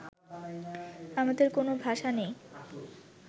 আমাদের কোনো ভাষা নেই